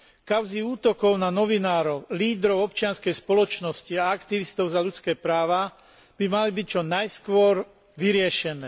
Kauzy útokov na novinárov, lídrov občianskej spoločnosti a aktivistov za ľudské práva by mali byť čo najskôr vyriešené.